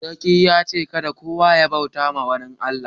Sarki ya ce' kadda kowa ya bauta ma wani Allah.